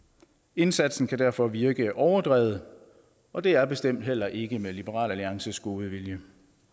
indsatsen kan derfor virke overdrevet og det er bestemt heller ikke med liberal alliances gode vilje